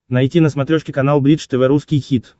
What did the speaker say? найти на смотрешке канал бридж тв русский хит